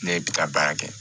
Ne ye bika baara kɛ